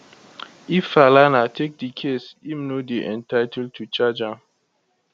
if falana take di case im no dey entiltled to charge am